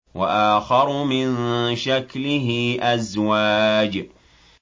وَآخَرُ مِن شَكْلِهِ أَزْوَاجٌ